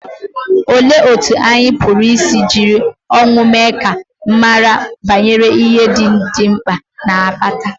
Olee otú anyị pụrụ isi jiri ọnwụ mee ka a mara banyere ihe ndị dị mkpa na-akpata?